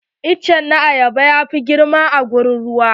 Itace na ayaba ya fi girma a wurin ruwa.